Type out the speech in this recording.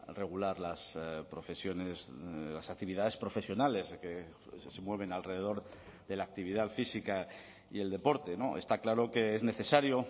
regular las profesiones las actividades profesionales que se mueven alrededor de la actividad física y el deporte está claro que es necesario